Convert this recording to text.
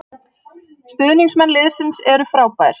Stuðningsmenn liðsins eru frábær